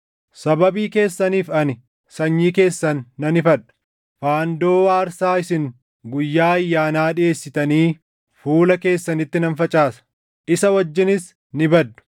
“Sababii keessaniif ani sanyii keessan nan ifadha; faandoo aarsaa isin guyyaa ayyaanaa dhiʼeessitanii fuula keessanitti nan facaasa; isa wajjinis ni baddu.